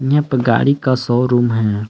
यहां पे गाड़ी का शोरूम है।